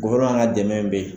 guwɛrineman ka dɛmɛ be yen